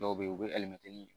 Dɔw be yen u be